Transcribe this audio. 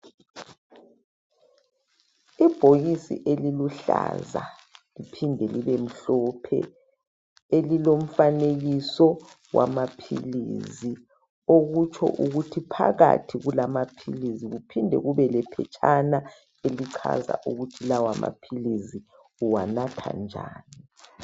Ibhokisi eliluhlaza liphinde libemhlophe elilomfanekiso wamaphilizi okutsho ukuthi phakathi kulamaphilizi kuphinde kube lephetshana elichaza ukuthi lawomaphilizi uwanatha njani.